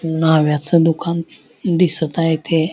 नाव्ह्याच दुकान दिसत आहे ते --